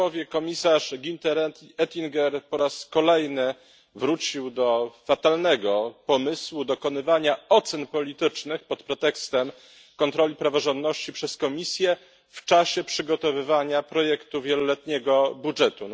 Komisarz Günther Oettinger po raz kolejny wrócił do fatalnego pomysłu dokonywania ocen politycznych pod pretekstem kontroli praworządności przez Komisję w czasie przygotowywania projektu wieloletniego budżetu.